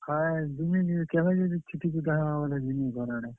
ହଏ ଯିମି, ଯିମି କେଭେ ଯିମି ଯେ ଛୁଟି, ଛୁଟା ହେବା ବେଲେ ଯିମି ଘର୍ ଆଡେ।